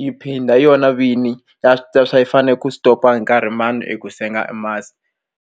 yi phinda yona vini ya swa swa yi fanele ku stop a hi nkarhi mani i ku senga masi.